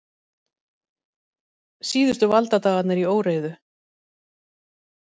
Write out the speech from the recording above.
Síðustu valdadagarnir í óreiðu